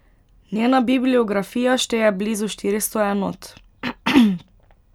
Njena bibliografija šteje blizu štiristo enot.